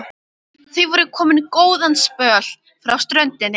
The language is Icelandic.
Þau voru komin góðan spöl frá ströndinni.